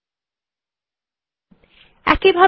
দেখুন যে ফাইলে সখ্গুলি লেখা চিলো সেটি খুলে গেছে